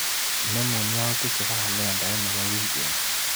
Inemu yautik chebo kalendait nebo wikini.